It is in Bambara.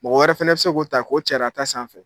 Mɔgɔ wɛrɛ fɛnɛ bɛ se k'o ta k'o car'a ta sanfɛ